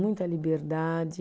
Muita liberdade.